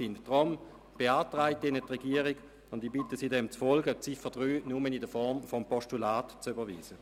Aufgrund dieser Überlegungen beantragt Ihnen die Regierung, die Ziffer 3 nur in Form eines Postulats zu überweisen.